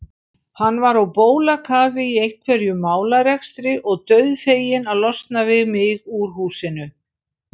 Hann var á bólakafi í einhverjum málarekstri og dauðfeginn að losna við mig úr húsinu.